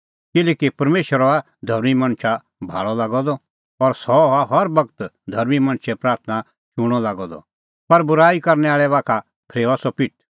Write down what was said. किल्हैकि परमेशर हआ धर्मीं मणछा भाल़अ लागअ द और सह हआ हर बगत धर्मीं मणछे प्राथणां शूणअ लागअ द पर बूराई करनै आल़ै बाखा फरेऊआ सह पिठ